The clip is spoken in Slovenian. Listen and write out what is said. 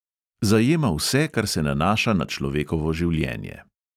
Zajema vse, kar se nanaša na človekovo življenje.